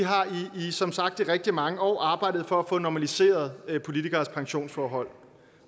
som sagt i rigtig mange år har arbejdet for at få normaliseret politikeres pensionsforhold